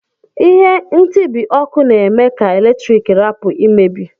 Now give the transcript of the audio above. Ihe ntibi ọkụ na eme ka eletrik rapu imebi.